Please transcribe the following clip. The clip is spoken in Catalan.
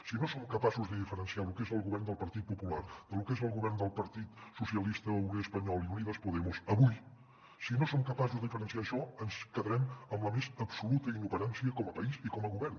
si no som capaços de diferenciar lo que és el govern del partit popular de lo que és el govern del partit socialista obrer espanyol i unidas podemos avui si no som capaços de diferenciar això ens quedem en la més absoluta inoperància com a país i com a govern